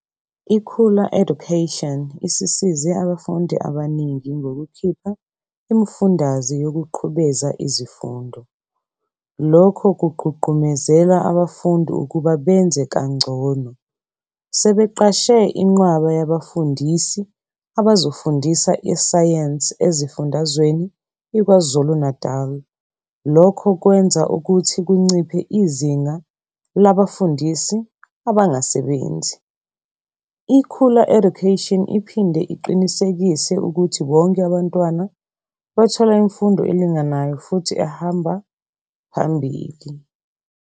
IKhula education isisize abafundi abaningi ngokukhipha imifundaze yokuqhubeza izifundo. lokho kugqugqumezela abafundi ukuba benze kangcono. sebeqashe iqwaba yabafundisis abazofundisa isayensi ezifundazweni iKwaZulu Natali lokho kwenza ukuthi kunciphe izinga labafundisis abangasebenzi. i khula education iphinde iqinisekise ukuth bonke abantwana bathola imfundo elinganayo futhi ehamba ehamba phambili.